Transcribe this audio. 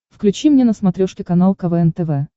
включи мне на смотрешке канал квн тв